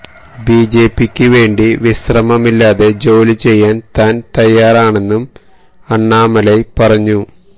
ബിജെപിക്ക് വേണ്ടി വിശ്രമമില്ലാതെ ജോലി ചെയ്യാന് താന് തയ്യാറാണെന്നും അണ്ണാമലൈ പറഞ്ഞു